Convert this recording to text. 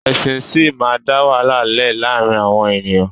Ẹ̀sìn síí máa da wàhálà lẹ laarin awọn eniyan